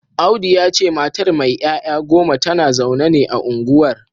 Audu ya ce matar mai ‘ya’ya goma tana zaune ne a unguwar